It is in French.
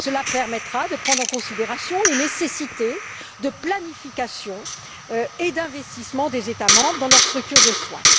Cela permettra de prendre en considération les nécessités de planification et d'investissement des États membres dans leur structure de soins.